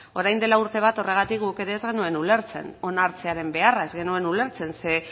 orain dela urte bat horregatik guk ere ez genuen ulertzen onartzearen beharra ez genuen ulertzen ze